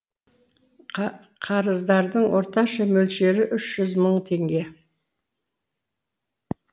қарыздардың орташа мөлшері үш жүз мың теңге